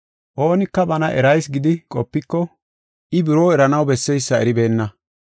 Oonika bana erayis gidi qopiko, I buroo eranaw besseysa eribeenna.